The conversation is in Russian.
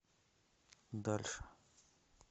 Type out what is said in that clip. дальше